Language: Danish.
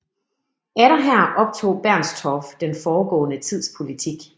Atter her optog Bernstorff den foregående tids politik